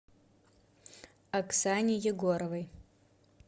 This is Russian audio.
оксане егоровой